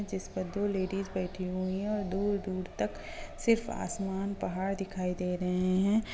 जिसपे दो लेडिस बैठी हुई है और दूर-दूर तक सिर्फ आसमान पहाड़ दिखाई दे रहे हैं।